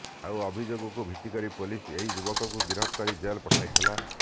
ଆଉ ଅଭିଯୋଗକୁ ଭିତ୍ତିକରି ପୋଲିସ ଏହି ଯୁବକଙ୍କୁ ଗିରଫ କରି ଜେଲ ପଠାଇଥିଲା